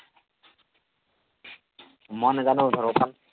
মই নেজানো